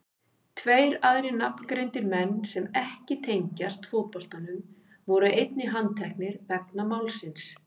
Tveir aðrir nafngreindir menn sem ekki tengjast fótboltanum voru einnig handteknir vegna málsins.